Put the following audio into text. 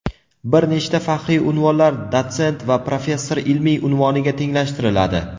Bir nechta faxriy unvonlar dotsent va professor ilmiy unvoniga tenglashtiriladi.